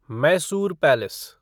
Mysore palace